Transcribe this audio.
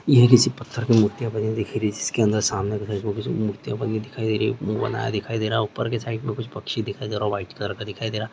ये किसी पत्थर की मूर्तियां बनी दिख रही है जिसके अंदर सामने तथा इसमें कुछ मूर्तियां बनी दिखाई दे रही मुह बना हुआ दिखाई दे रहा ऊपर के साइड मे कुछ पक्षी दिखाई दे रहा व्हाइट कलर का दिखाई दे रहा --